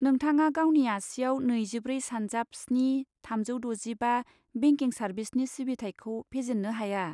नोंथाङा गावनि आसियाव नैजिब्रै सानजाब स्नि, थामजौ द'जिबा बेंकिं सार्भिसनि सिबिथायखौ फेजेन्नो हाया।